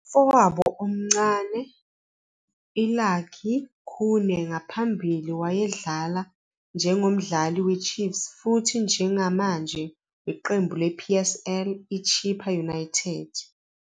Umfowabo omncane I-Lucky Khune ngaphambili wayedlala njengomdlali we-Chiefs futhi njengamanje weqembu le-PSL I-Chippa United.